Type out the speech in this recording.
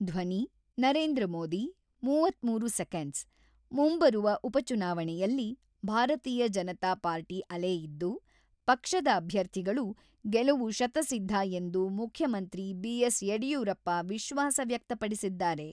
ಧ್ವನಿ-ನರೇಂದ್ರ ಮೋದಿ-ಮೂವತ್ತ್ಮೂರು seconds ಮುಂಬರುವ ಉಪಚುನಾವಣೆಯಲ್ಲಿ ಭಾರತೀಯ ಜನತಾ ಪಾರ್ಟಿ ಅಲೆ ಇದ್ದು, ಪಕ್ಷದ ಅಭ್ಯರ್ಥಿಗಳು ಗೆಲುವು ಶತಸಿದ್ಧ ಎಂದು ಮುಖ್ಯಮಂತ್ರಿ ಬಿ.ಎಸ್.ಯಡಿಯೂರಪ್ಪ ವಿಶ್ವಾಸ ವ್ಯಕ್ತಪಡಿಸಿದ್ದಾರೆ.